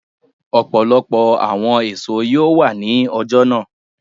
Ọpọlọpọ awọn eso yoo wa ni ọja naa.